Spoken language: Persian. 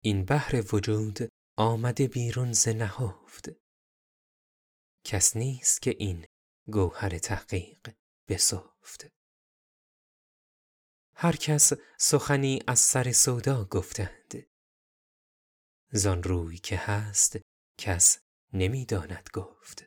این بحر وجود آمده بیرون ز نهفت کس نیست که این گوهر تحقیق بسفت هر کس سخنی از سر سودا گفتند ز آن روی که هست کس نمی داند گفت